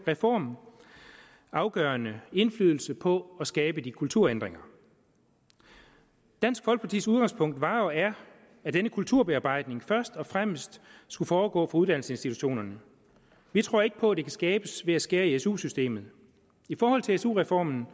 reform afgørende indflydelse på at skabe de kulturændringer dansk folkepartis udgangspunkt var og er at denne kulturbearbejdning først og fremmest skulle foregå på uddannelsesinstitutionerne vi tror ikke på at det kan skabes ved at skære i su systemet i forhold til su reformen